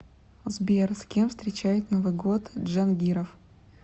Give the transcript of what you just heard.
сбер с кем встречает новый год джангиров